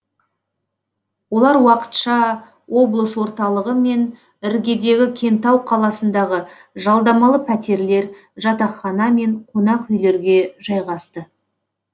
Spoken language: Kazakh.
олар уақытша облыс орталығы мен іргедегі кентау қаласындағы жалдамалы пәтерлер жатақхана мен қонақ үйлерге жайғасты